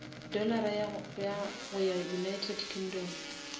dollara go ya united kingdom